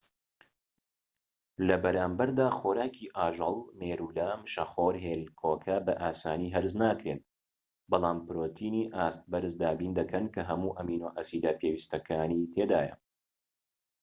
لەبەرامبەردا، خۆراکی ئاژەڵ مێرولە، مشەخۆر، هێلکۆکە بە ئاسانی هەرس ناکرێن، بەڵام پرۆتینی ئاست بەرز دابین دەکەن کە هەموو ئەمینۆ ئەسیدە پێویستەکانی تێدایە